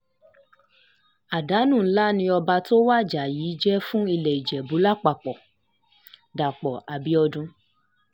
um àdánù ńlá ni ọba tó wájà um yìí jẹ́ fún ilé ìjẹ̀bù lápapọ̀-dàpọ̀ abiodun